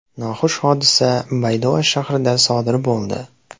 Noxush hodisa Baydoa shahrida sodir bo‘ldi.